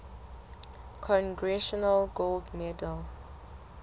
congressional gold medal